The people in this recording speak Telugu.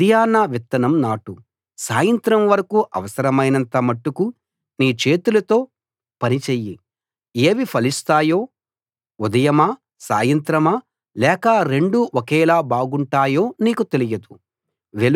ఉదయాన విత్తనం నాటు సాయంత్రం వరకూ అవసరమైనంత మట్టుకు నీ చేతులతో పని చెయ్యి ఏవి ఫలిస్తాయో ఉదయమా సాయంత్రమా లేక రెండూ ఒకేలా బాగుంటాయో నీకు తెలియదు